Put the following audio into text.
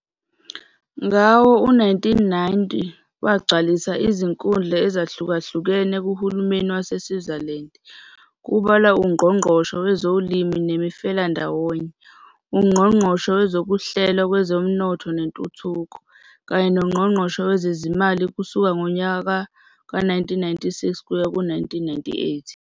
Ngawo-1990, wagcwalisa izikhundla ezahlukahlukene kuhulumeni waseSwaziland, kubalwa uNgqongqoshe Wezolimo Nemifelandawonye, uNgqongqoshe Wezokuhlelwa Kwezomnotho Nentuthuko, kanye noNgqongqoshe Wezezimali kusuka ngonyaka we-1996 kuya ku-1998.